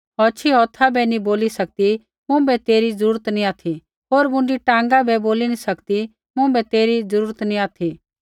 औछ़ी हौथा बै नी बोली सकदी मुँभै तेरी ज़रूरत नी ऑथि होर न मुँडी टाँगा बै बोली सकदी मुँभै तेरी जरुर नी ऑथि